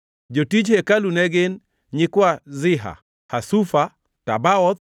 Jotij hekalu ne gin: nyikwa Ziha, Hasufa, Tabaoth,